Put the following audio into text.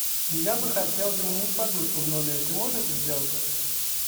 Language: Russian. я бы хотел заменить подушку в номере ты можешь это сделать